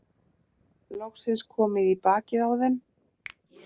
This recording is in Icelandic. Loksins komið í bakið á þeim.